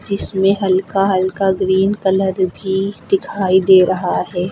जिसमें हल्का हल्का ग्रीन कलर भी दिखाई दे रहा है।